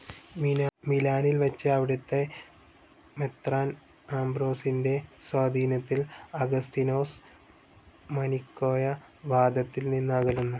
മിലാനിൽ വച്ച്, അവിടത്തെ മെത്രാൻ അംബ്രോസിന്റെ സ്വാധീനത്തിൽ അഗസ്തീനോസ് മനിക്കേയ വാദത്തിൽ നിന്ന് അകലുന്നു.